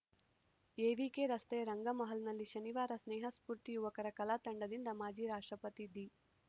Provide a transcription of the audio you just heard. AVK ರಸ್ತೆಯ ರಂಗ ಮಹಲ್‌ನಲ್ಲಿ ಶನಿವಾರ ಸ್ನೇಹ ಸ್ಪೂರ್ತಿ ಯುವಕರ ಕಲಾ ತಂಡದಿಂದ ಮಾಜಿ ರಾಷ್ಟ್ರಪತಿ ದಿ